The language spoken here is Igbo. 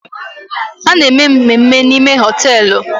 A na-eme mmemme n'ime hoteelu